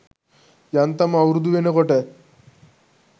යන්තම් අවුරුදු වෙනකොට